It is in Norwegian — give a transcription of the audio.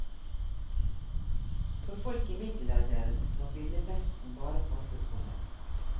For folk i middelalderen var byllepesten bare passe skummel.